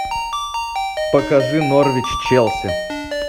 покажи норвич челси